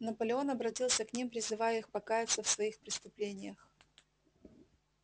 наполеон обратился к ним призывая их покаяться в своих преступлениях